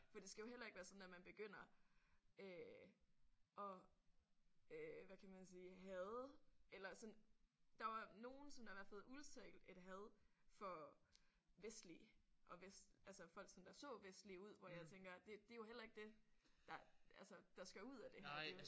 For det skal jo heller ikke være sådan at man begynder øh at øh hvad kan man sige hade eller sådan der var nogen som der i hvert fald udtalte et had for vestlige og vest altså folk som der så vestlige ud hvor jeg tænker det er jo heller ikke dét der altså der skal ud af det her